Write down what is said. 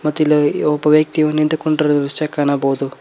ಮತ್ತಿಲ್ಲಿ ಒಬ್ಬ ವ್ಯಕ್ತಿಯು ನಿಂತುಕೊಂಡಿರುವ ದೃಶ್ಯ ಕಾಣಬಹುದು.